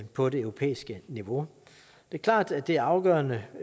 på det europæiske niveau det er klart at det er afgørende